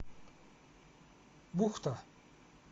бухта